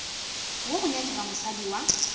wo go nyakega mosadi wa